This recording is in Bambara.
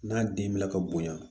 N'a den bila ka bonya